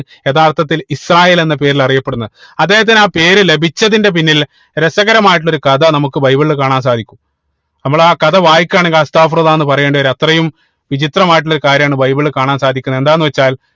യഥാർത്ഥത്തിൽ ഇസ്രായേൽ എന്ന പേരിൽ അറിയപ്പെടുന്നത് അദ്ദേഹത്തിന് ആ പേര് ലഭിച്ചതിന്റെ പിന്നിൽ രസകരമായിട്ടുള്ള ഒരു കഥ നമുക്ക് ബൈബിൾ കാണാൻ സാധിക്കും നമ്മള് ആ കഥ വായിക്കാണ് എന്ന് പറയേണ്ടി വരും അത്രയും വിചിത്രമായിട്ടുള്ള ഒരു കാര്യമാണ് ബൈബിൾ കാണാൻ സാധിക്കുന്നത് എന്താണ് വെച്ചാൽ